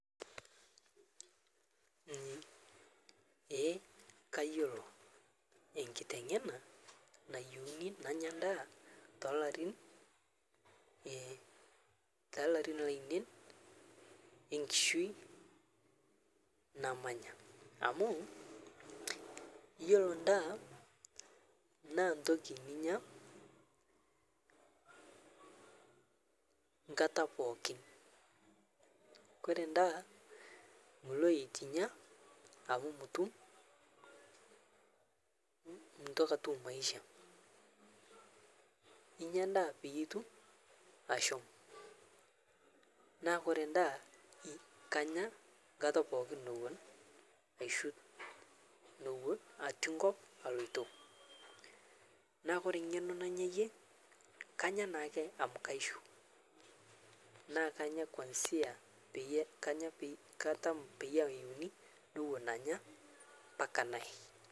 Ee kayoloo enkiteng'ena nayeuni nanya ndaa telarin lainen enkishui namanya amuu iyolo ndaa naa ntoki ninya nkata pookin. Kore ndaa muloo etu inyaa amu mutum, muntoki atum maisha, inya ndaa peyie itum ashomoo, naa kore ndaa kanya nkata pookin nowon aishuu nowon atii nkop aloitoo naa kore ng'enoo nanyayie kanya naake amu kaishuu naa kanya kuanzia peyie kanya katamaa peyie ayiuni nowon anya mpaka nayee.